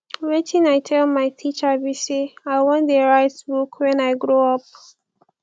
wetin i tell my teacher be say i wan dey write book wen i grow up